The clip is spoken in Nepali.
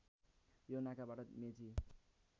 यो नाकाबाट मेची